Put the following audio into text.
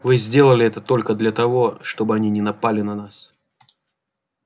вы сделали это только для того чтобы они не напали на нас